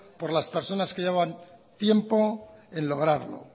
por las personas que llevaban tiempo en lograrlo